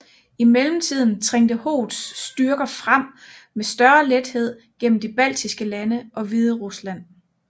I mellemtiden trængte Hoths styrker frem med større lethed gennem de baltiske lande og Hviderusland